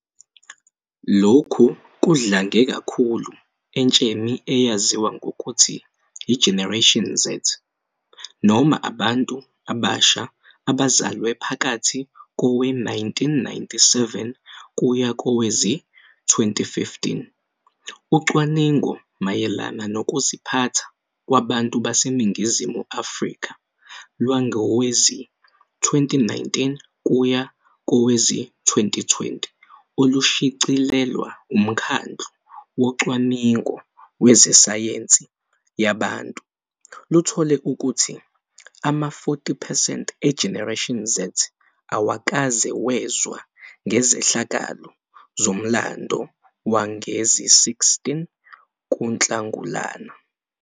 Lokhu kudlange kakhulu entsheni eyaziwa ngokuthi i-Generation Z, noma abantu abasha abazalwe phakathi kowe-1997 kuya kowezi-2015. Ucwaningo mayelana Nokuziphatha Kwabantu BaseNingizimu Afrika lwangowezi-2019-2020 olushicilelwe uMkhandlu Wocwaningo Ngezesayensi Yabantu luthole ukuthi ama-40 percent e-Generation Z awukaze wezwa ngezehlakalo zomlando wange-16 kuNhlangulana.